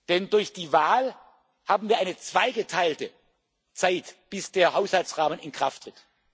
können. Denn durch die Wahl haben wir eine zweigeteilte Zeitspanne, bis der Haushaltsrahmen in Kraft